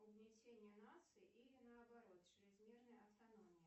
угнетение нации или наоборот чрезмерная автономия